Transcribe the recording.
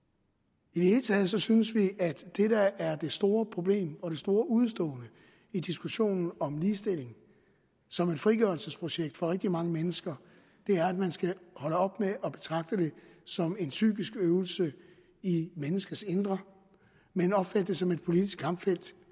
i taget synes vi at det der er det store problem og det store udestående i diskussionen om ligestilling som et frigørelsesprojekt for rigtig mange mennesker er at man skal holde op med at betragte det som en psykisk øvelse i menneskers indre men opfatte det som et politisk kampfelt